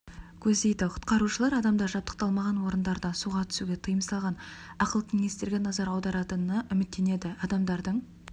көздейді құтқарушылар адамдар жабдықталмаған орындарда суға түсуге тыйым салған ақыл кеңестерге назар аударатынына үміттенеді адамдардың